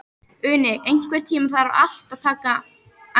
Uni, einhvern tímann þarf allt að taka enda.